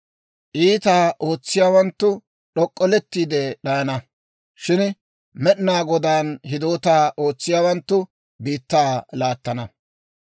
Iitaa ootsiyaawanttu d'ok'ollettiide d'ayana; shin Med'inaa Godaan hidootaa ootsiyaawanttu biittaa laattana.